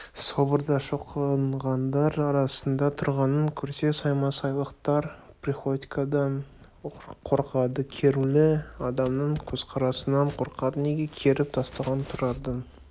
соборда шоқынғандар арасында тұрғанын көрсе саймасайлықтар приходькодан қорқады керулі адамның көзқарасынан қорқады неге керіп тастаған тұрардың